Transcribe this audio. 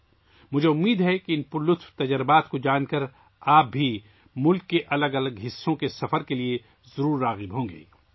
مجھے امید ہے کہ ان دلچسپ تجربات کو جاننے کے بعد، آپ کو بھی یقیناً ملک کے مختلف حصوں کا سفر کرنے کی ترغیب ملے گی